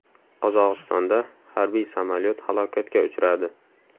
Qozog‘istonda harbiy samolyot halokatga uchradi.